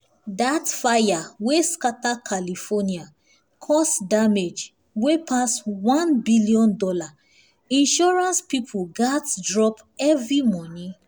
that fire wey scatter california cause damage wey pass $1 billion—insurance people gats drop heavy money.